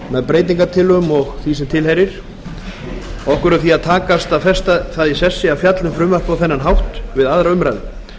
með breytingartillögum og því sem tilheyrir okkur er því að takast að festa það í sessi að fjalla um frumvarpið á þennan hátt við aðra umræðu